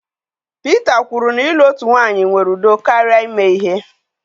Peter kwuru na ịlụ otu nwanyị nwere udo karịa ime ihe.